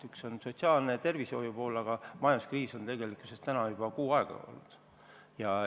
Üks on sotsiaalne ja tervisehoiuga seotud ning teine on majanduskriis, mis on tegelikult juba kuu aega kestnud.